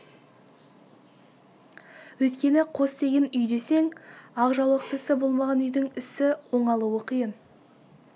өйткені қос деген үй десең ақ жаулықтысы болмаған үйдің ісі оңалуы қиын